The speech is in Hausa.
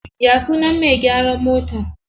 Ya sunan me gyaran motar?